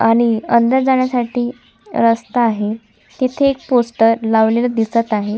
आणि अंदर जाण्यासाठी रस्ता आहे तिथे एक पोस्टर लावलेल दिसत आहे.